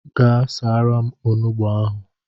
Gaa saara m onugbu ahụ.